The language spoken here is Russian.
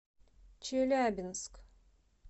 челябинск